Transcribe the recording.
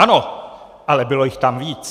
Ano, ale bylo jich tam víc.